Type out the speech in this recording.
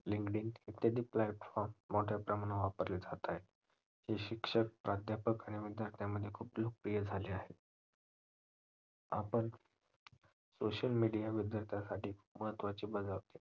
भिन्न भिन्न ईत्यादि platform मोठ्या प्रमाणावर वापरले जात आहेत. हे शिक्षक प्राध्यापक आणि विद्यार्थ्यामध्ये खूप लोकप्रिय झाले आहेत. आपण social media बद्दल कश्यासाठी महत्वाचे